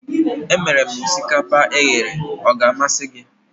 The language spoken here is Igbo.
Emere m osikapa eghere, ọ ga-amasị gị?